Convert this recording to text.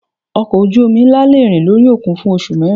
Ọkọ̀ ojú omi ńlá le rìn lórí òkun fún oṣù mẹ́rin.